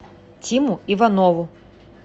тиму иванову